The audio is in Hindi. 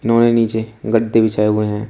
उन्होंने नीचे गद्दे बिछाए हुए हैं।